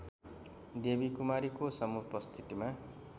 देवीकुमारीको समुपस्थितिमा